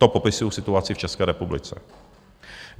To popisuji situaci v České republice.